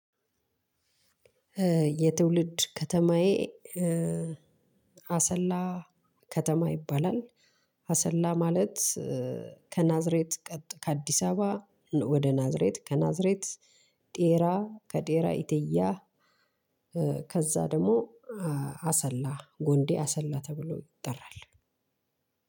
የትውልድ ከተማዬ አሰላ ከተማ ይባላል። አሰላ ማለት ከናዝሬት ቀጥሎ ከአዲስ አበባ ወደ ናዝሬት ከናዝሬት ዴራ ከዴራ ኢትያ። ከዛ ደግሞ አሰላ ጎንዴ አሰላ ተብሎ ይጠራል።